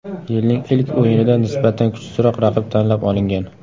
Yilning ilk o‘yinida nisbatan kuchsizroq raqib tanlab olingan.